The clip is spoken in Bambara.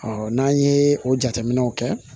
n'an ye o jateminɛw kɛ